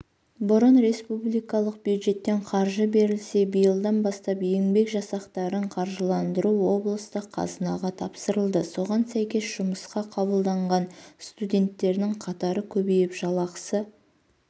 бұрын республикалық бюджеттен қаржы берілсе биылдан бастап еңбек жасақтарын қаржыландыру облыстық қазынға тапсырылды соған сәйкес жұмысқа қабылданған студенттердің қатары көбейіп жалақысы